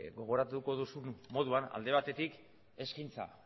gogoratuko duzun moduan alde batetik eskaintza